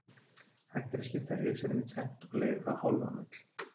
Hægt er að skipta Risanum í tvennt og leigja þá hálfan völl.